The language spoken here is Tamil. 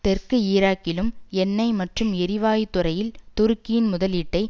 தெற்கு ஈராக்கிலும் எண்ணெய் மற்றும் எரிவாயு துறையில் துருக்கியின் முதலீட்டை